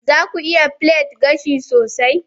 za ku iya plait gashi sosai?